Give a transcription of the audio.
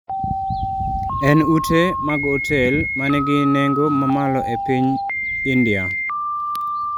en ute mag otel ma nigi nengo mamalo e piny ndia